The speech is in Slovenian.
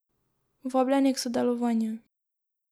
Vabljeni k sodelovanju!